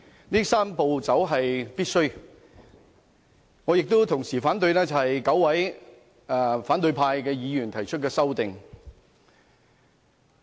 同時，我亦反對9位反對派議員提出的修正案。